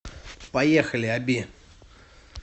поехали оби